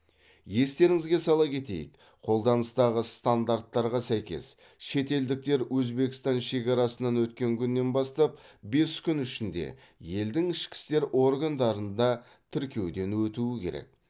естеріңізге сала кетейік қолданыстағы стандарттарға сәйкес шетелдіктер өзбекстан шекарасынан өткен күннен бастап бес күн ішінде елдің ішкі істер органдарында тіркеуден өтуі керек